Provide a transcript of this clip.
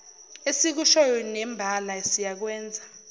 esikushoyo nembala siyakwenza